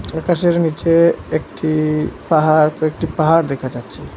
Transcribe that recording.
আকাশের নীচে একটি পাহাড় একটি পাহাড় দেখা যাচ্ছে।